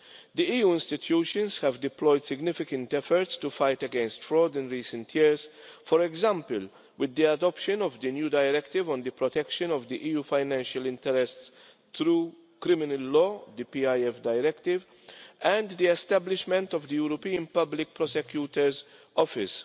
The EU institutions have deployed significant efforts to fight against fraud in recent years, for example with the adoption of the new Directive on the protection of the EU financial interests through criminal law and the establishment of the European Public Prosecutor's Office.